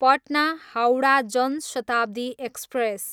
Patna, Howrah Jan Shatabdi express